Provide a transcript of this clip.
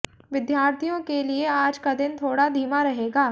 विद्यार्थियों के लिए आज का दिन थोड़ा धीमा रहेगा